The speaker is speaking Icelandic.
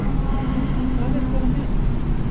Hvað eru þær að meina?